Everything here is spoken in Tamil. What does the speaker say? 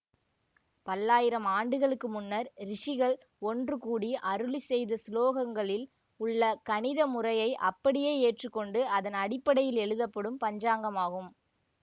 பல்லாயிரம் ஆண்டுகளுக்கு முன்னர் ரிசிகள் ஒன்று கூடி அருளி செய்த சுலோகங்களில் உள்ள கணித முறையை அப்படியே ஏற்றுக்கொண்டு அதன் அடிப்படையில் எழுதப்படும் பஞ்சாங்கமாகும்